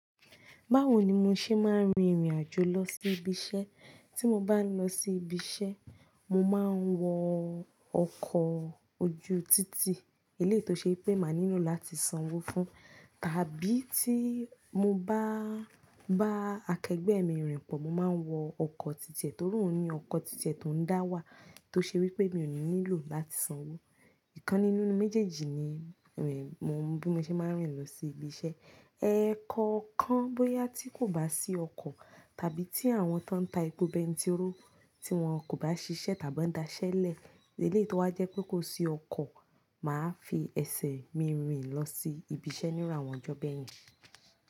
Báwo ni mo ṣe máa ń rin ìrìn àjò lọ sí ibi iṣẹ́? Tí mo bá ń lọ sí ibi iṣẹ́, mo máa ń wọ ọkọ̀ ojú títì, eléyìí tó ṣe pé máa nílò láti sanwó fún, tàbí tí mo bá bá akẹgbẹ́ mi rìn pọ̀, mo máa ń wọ ọkọ̀ títì ẹ torí òun ní ọkọ̀ títì ẹ tó ń dá wà tó ṣe wí pé mi ò ní nílò láti sanwó. Ìkan nínú méjèèjì ni èmi mo n bu mo ṣe máa ń rìn lọ sí ibi iṣẹ́. Ẹ̀kọ̀ọ̀kan bóyá tí kò bá sí ọkọ̀ tàbí tí àwọn tó ń ta epo bẹ́ẹ̀ntiróò tí wọ́n kò bá ṣiṣẹ́ tàbí ọ́ n daṣẹ́lẹ̀ eléyìí tó wa jẹ́ pé kò sí ọkọ̀, màá fi ẹsẹ̀ mi rìn lọ sí ibi iṣẹ́ níru awọn ọjọ́ bẹ́ẹ̀yẹn.